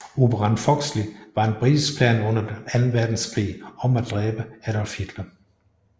Operation Foxley var en britisk plan under anden verdenskrig om at dræbe Adolf Hitler